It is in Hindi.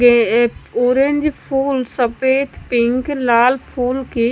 ये एक ऑरेंज फूल सफेद पिंक लाल फूल की--